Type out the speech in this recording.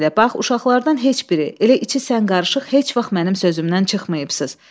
Bax, uşaqlardan heç biri, elə içi sən qarışıq heç vaxt mənim sözümdən çıxmayıbsız.